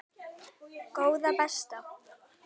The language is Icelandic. Góða besta.